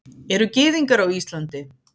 Eru Gyðingar á Íslandi?